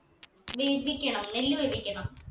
വേപ്പിക്കണം നെല്ല് വേവിക്കണം